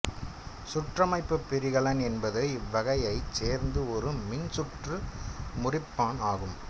சுற்றமைப்புப் பிரிகலன் என்பது இவ்வகையைச் சேர்ந்த ஒரு மின் சுற்று முறிப்பான் ஆகும்